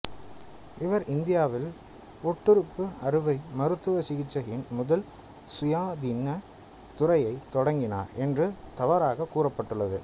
இவர்இந்தியாவில் ஒட்டுறுப்பு அறுவை மருத்துவச் சிகிச்சையின் முதல் சுயாதீன துறையைத் தொடங்கினார் என்று தவறாகக் கூறப்பட்டுள்ளது